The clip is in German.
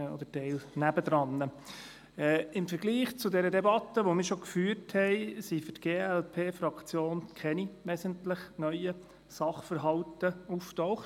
Im Vergleich zur Debatte, die wir bereits geführt haben, sind für die glp-Fraktion keine wesentlich neuen Sachverhalte aufgetaucht.